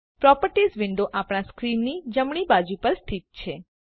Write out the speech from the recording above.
properties window આપણા સ્ક્રીનની જમણી બાજુ પર સ્થિત છે